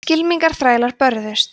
skylmingaþrælar börðust